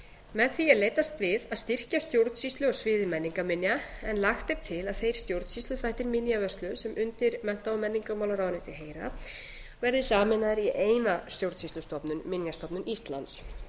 með því er leitast við að styrkja stjórnsýslu á sviði menningarminja en lagt er til að þeir stjórnsýsluþættir minjavörslu sem undir mennta og menningarmálaráðuneytið heyra verði sameinaðir í eina stjórnsýslustofnun minjastofnun íslands